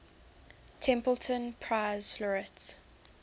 templeton prize laureates